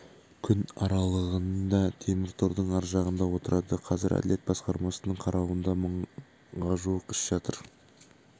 күн аралығында темір тордың ар жағында отырады қазір әділет басқармасының қарауында мыңға жуық іс жатыр